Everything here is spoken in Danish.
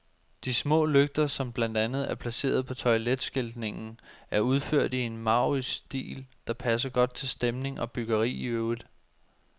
De små lygter, som blandt andet er placeret på toiletskiltningen, er udført i en maurisk stil, der passer godt til stemning og byggeri i øvrigt.